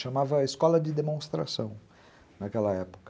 Chamava Escola de Demonstração, naquela época.